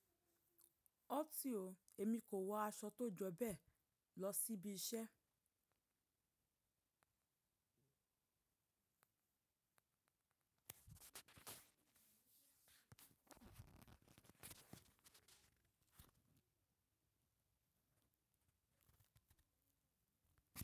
Ọ́tì ó, èmi kò wọ aṣọ tó jọ bẹ́ẹ̀ lọ síbi iṣẹ́.